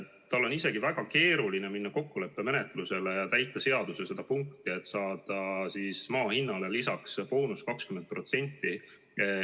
Tal on isegi väga keeruline minna kokkuleppemenetlusele, et täidetaks seaduse seda punkti, et boonusena saab maa hinnale lisaks 20%.